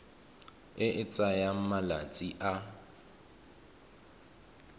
e e tsayang malatsi a